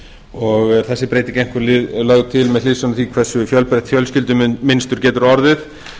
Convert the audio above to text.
stjúpbarnabarni sínu þessi breyting er einkum lögð til með hliðsjón af því hversu fjölbreytt fjölskyldumynstur getur orðið